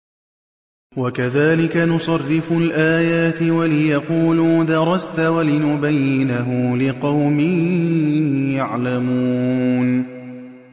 وَكَذَٰلِكَ نُصَرِّفُ الْآيَاتِ وَلِيَقُولُوا دَرَسْتَ وَلِنُبَيِّنَهُ لِقَوْمٍ يَعْلَمُونَ